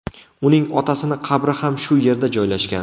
Uning otasini qabri ham shu yerda joylashgan.